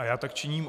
A já tak činím.